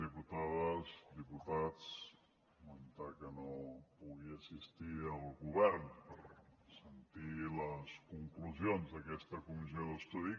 diputades diputats comentar que no pugui assistir el govern per sentir les conclusions d’aquesta comissió d’estudi